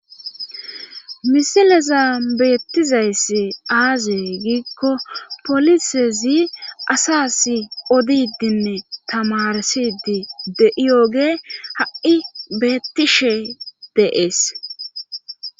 misileza beettizayss aaziyey giikko polisezi asas odidinne tamarsidi de7iyooge ha7i beettishe deees